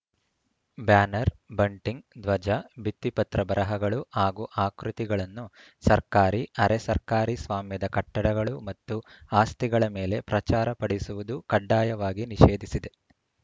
banner bunting ಧ್ವಜ ಭಿತ್ತಿಪತ್ರ ಬರಹಗಳು ಹಾಗೂ ಆಕೃತಿಗಳನ್ನು ಸರ್ಕಾರಿಅರೆ ಸರ್ಕಾರಿ ಸ್ವಾಮ್ಯದ ಕಟ್ಟಡಗಳು ಮತ್ತು ಆಸ್ತಿಗಳ ಮೇಲೆ ಪ್ರಚಾರಪಡಿಸುವುದು ಕಡ್ಡಾಯವಾಗಿ ನಿಷೇಧಿಸಿದೆ